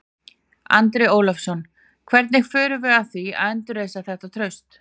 Andri Ólafsson: Hvernig förum við að því að endurreisa þetta traust?